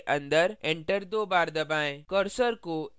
अब bracket के अन्दर enter दो बार दबाएँ